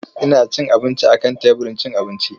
Ya ci abinci a kan teburin cin abinci.